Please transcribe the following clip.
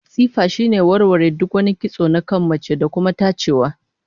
Tsifa shine warware duk wani kitso na kan mace, da kuma tajewa